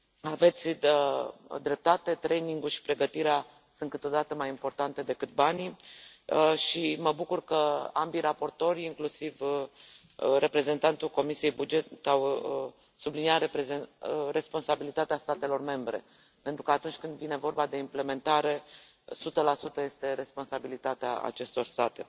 Aveți dreptate training ul și pregătirea sunt câteodată mai importante decât banii și mă bucur că ambii raportori, inclusiv reprezentantul Comisiei pentru bugete au subliniat responsabilitatea statelor membre, pentru că atunci când vine vorba de implementare, sută la sută este responsabilitatea acestor state.